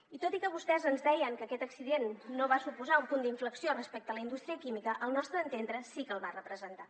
i tot i que vostès ens deien que aquest accident no va suposar un punt d’inflexió respecte a la indústria química al nostre entendre sí que el va representar